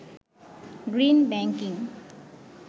green banking